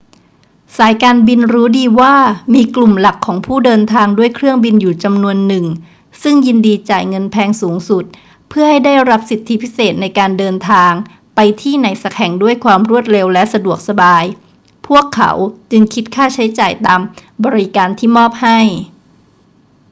สายการบินรู้ดีว่ามีกลุ่มหลักของผู้เดินทางด้วยเครื่องบินอยู่จำนวนหนึ่งซึ่งยินดีจ่ายเงินแพงสูงสุดเพื่อให้ได้รับสิทธิพิเศษในการเดินทางไปที่ไหนสักแห่งด้วยความรวดเร็วและสะดวกสบาย พวกเขาจึงคิดค่าใช้จ่ายตามบริการที่มอบให้